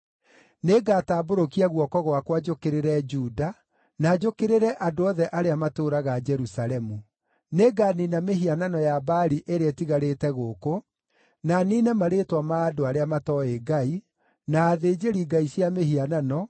“Nĩngatambũrũkia guoko gwakwa njũkĩrĩre Juda, na njũkĩrĩre andũ othe arĩa matũũraga Jerusalemu. Nĩnganiina mĩhianano ya Baali ĩrĩa ĩtigarĩte gũkũ, na niine marĩĩtwa ma andũ arĩa matooĩ Ngai, na athĩnjĩri-ngai cia mĩhianano,